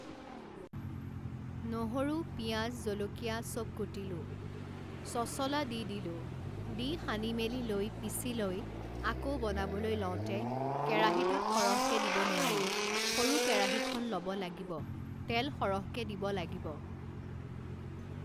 নহৰু, পিয়াজ, জলকীয়া চব কুটিলোঁ সছলা দি দিলোঁ দি সানি মেলি লৈ পিছি লৈ আকৌ বনাবলৈ লওঁতে কেৰাহিটোত সৰহকে দিব নোৱাৰি সৰু কেৰাহিখ্ন ল'ব লাগিব তেল সৰহকে দিব লাগিব